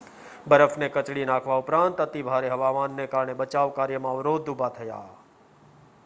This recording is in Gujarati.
બરફને કચડી નાખવા ઉપરાંત અતિભારે હવામાનને કારણે બચાવ કાર્યમાં અવરોધ ઉભા થયા